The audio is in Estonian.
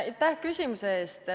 Aitäh küsimuse eest!